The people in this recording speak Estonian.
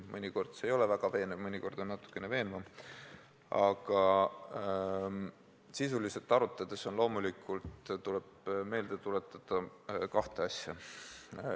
Mõnikord see ei ole väga veenev ja mõnikord on natukene veenvam, aga sisuliselt arutades tuleb loomulikult meelde tuletada kahte asja.